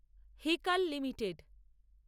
Hikal limited